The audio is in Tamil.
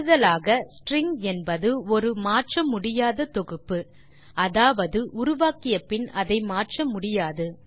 கூடுதலாக ஸ்ட்ரிங் என்பது ஒரு மாற்ற முடியாத தொகுப்பு அதாவது உருவாக்கிய பின் அதை மாற்ற முடியாது